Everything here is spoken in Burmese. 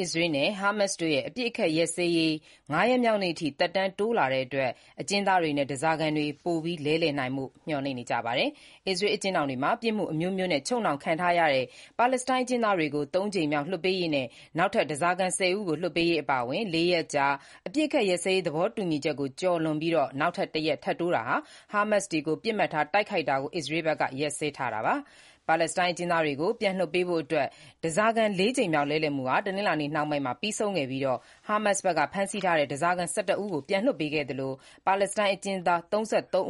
အစ္စရေးနဲ့ ဟာမတ်စ်တို့ရဲ့ အပစ်အခတ်ရပ်စဲရေး ၅ ရက်မြောက်နေ့အထိ သက်တမ်းတိုးလာတဲ့အတွက် အကျဉ်းသားတွေနဲ့ဓားစားခံတွေ ထပ်မံလဲလှယ်ကြလိမ့်မယ်လို့ မျှော်လင့်နေကြပါတယ်။ အစ္စရေးအကျဉ်းထောင်တွေမှာ ပြစ်မှုအမျိုးမျိုးနဲ့ ချုပ်နှောင်ခံထားရတဲ့ ပါလက်စတိုင်းအကျဉ်းသားတွေကို သုံးကြိမ်မြောက် လွှတ်ပေးရေးနဲ့ နောက်ထပ် ဓားစာခံ ၁၀ ဦးကိုလွှတ်ပေးရေးအပါအဝင် ၄ ရက်ကြာ အပစ်ရပ်ရေး သဘောတူညီချက်ကို ပြည့်သွားပြီးချိန်မှာနောက်ထပ် တရက်ထပ်တိုးပြီး ဟာမတ်စ်တို့ကို ပစ်မှတ်ထားတိုက်ခိုက်တာကိုလည်း အစ္စရေးဘက်က ရပ်စဲထားတာပါ။ ပါလက်စတိုင်းအကျဉ်းသားတွေကို ပြန်လွှတ်ပေးဖို့အတွက် ဓားစားခံ လေးကြိမ်မြောက် လဲလှယ်မှုဟာ တနင်္လာနေ့နှောင်းပိုင်းမှာ ပြီးဆုံးခဲ့ပြီး၊ ဟာမတ်စ်ဘက်က ဖမ်းဆီးထားတဲ့ ဓားစာခံ ၁၁ ဦးကို ပြန်လွှတ်ပေးခဲ့သလို၊ ပါလက်စတိုင်း အကျဉ်းသား ၃